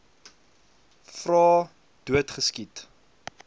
vra dood geskiet